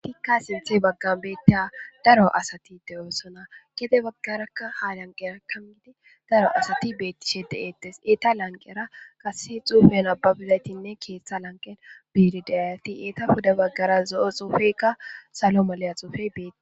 tikka sinthe baggan beette daro asati de7oossona kede baggarakka ha lanqerakkam gidi daro asati beettishe de7eettes eta lanqera kase xuufen ababizaytinne keeththa lanqen biidideyati eeta huda baggara zo7o xuufeykka salo maleya xuufey beeti